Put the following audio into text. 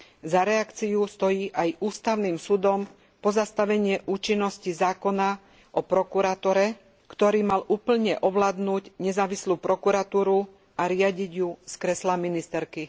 Za reakciu stojí aj ústavným súdom pozastavenie účinnosti zákona o prokuratúre, ktorý mal úplne ovládnuť nezávislú prokuratúru a riadiť ju z kresla ministerky.